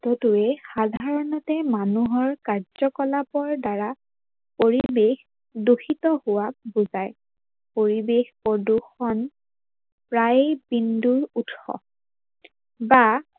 উৎসটো সাধাৰনতে মানুহৰ কাৰ্যকলাপৰ দ্বাৰা পৰিবেশ দূষিত হোৱা বুজায়। পৰিবেশ প্ৰদূৰ্ষন প্ৰায় বিন্দু উৎস বা